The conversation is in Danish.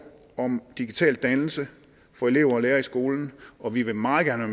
om digital dannelse for elever og lærere i skolen og vi vil meget gerne